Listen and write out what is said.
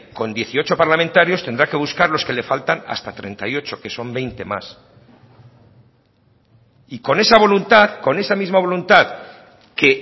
con dieciocho parlamentarios tendrá que buscar los que le faltan hasta treinta y ocho que son veinte más y con esa voluntad con esa misma voluntad que